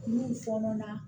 N'u fɔɔnɔ na